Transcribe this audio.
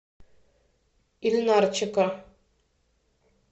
ильнарчика